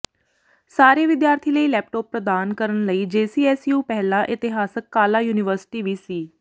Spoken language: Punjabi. ਸਾਰੇ ਵਿਦਿਆਰਥੀ ਲਈ ਲੈਪਟੌਪ ਪ੍ਰਦਾਨ ਕਰਨ ਲਈ ਜੇਸੀਐਸਯੂ ਪਹਿਲਾ ਇਤਿਹਾਸਕ ਕਾਲਾ ਯੂਨੀਵਰਸਿਟੀ ਵੀ ਸੀ